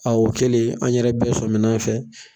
o kɛlen an yɛrɛ bɛɛ sɔmi n'a fɛ.